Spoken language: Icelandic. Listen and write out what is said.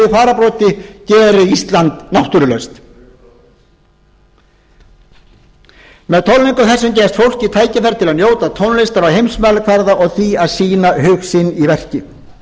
fararbroddi geri ísland náttúrulaust með tónleikum þessum gefst fólki tækifæri til að njóta tónlistar á heimsmælikvarða og því að því að sýna hug sinn í verki